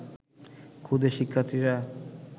ক্ষুদে শিক্ষার্থীরা